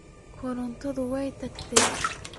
Korontadhi way tagtey.